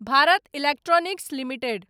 Bharat electronics limited